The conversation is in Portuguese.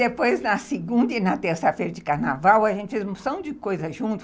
Depois, na segunda e na terça-feira de carnaval, a gente fez um monte de coisas juntos.